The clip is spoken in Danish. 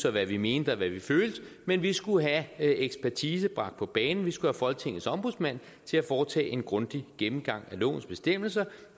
og hvad vi mente og hvad vi følte men vi skulle have ekspertise bragt på banen vi skulle have folketingets ombudsmand til at foretage en grundig gennemgang af lovens bestemmelser